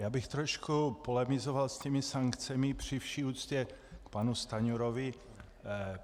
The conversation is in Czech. Já bych trošku polemizoval s těmi sankcemi, při vší úctě k panu Stanjurovi.